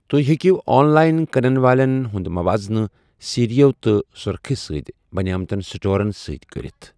تو٘ہہہِ ہیٚکِو online کٕنن والیٚن ہُنٛد مواضنہٕ سیرِیو تہٕ سٗرخہِ سۭتۍ بنیمتین سٹورن سۭتۍ كرِتھ ۔